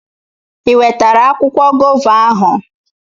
I wetara akwụkwọ gova ahụ?